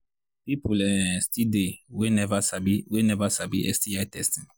people um still they we never sabi we never sabi sti testing